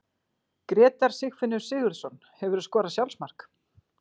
Grétar Sigfinnur Sigurðsson Hefurðu skorað sjálfsmark?